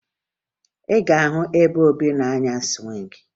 Ị gaghị ahụ ebe Obi na-anya sụwịngị